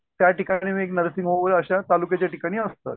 त्या ठिकाणीच एक नर्सिंग होम अशा तालुक्याच्या ठिकाणी असतं.